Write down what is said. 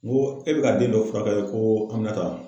N ko e be ka den dɔ furakɛ ko Aminata wa?